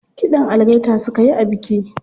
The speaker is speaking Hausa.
Kiɗan algaita suka yi a biki.